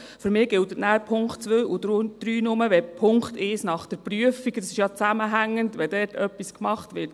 Für mich gelten nachher die Punkte 2 und 3 nur, wenn bei Punkt 1 nach der Prüfung überhaupt etwas gemacht wird.